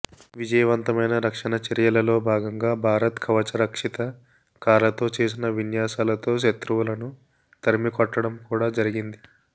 విజయవంతమైన రక్షణ చర్యలలో భాగంగా భారత్ కవచరక్షిత కార్లతో చేసిన విన్యాసాలతో శత్రువులను తరిమికొట్టడం కూడా జరిగింది